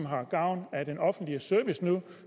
have gavn af den offentlige service nu